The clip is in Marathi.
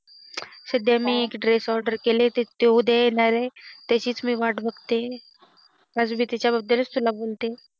सध्या मी एक Dress order केली ते उद्या येणार आहे त्याचीच मी वाट बघतेय अजूनही त्याच्या बद्दलच मी बोलतेय